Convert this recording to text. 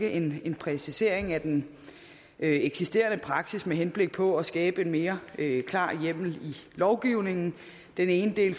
en præcisering af den eksisterende praksis med henblik på at skabe en mere klar hjemmel i lovgivningen den ene del